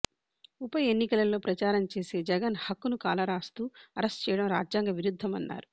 ఉప ఎన్నికలలో ప్రచారం చేసే జగన్ హక్కును కాలరాస్తూ అరెస్టు చేయడం రాజ్యాంగ విరుద్ధమన్నారు